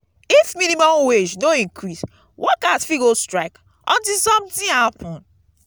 if minimum wage no increase workers fit go strike until something happen